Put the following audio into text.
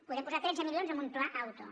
podem posar tretze milions en un pla auto